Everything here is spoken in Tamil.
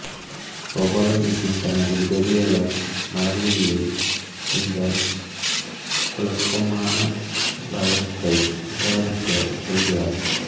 கோபால கிருஷ்ணன் தனது உதவியாளர் மலர்விழியை இந்த குழப்பமான வழக்கை விசாரிக்கச் சொல்கிறார்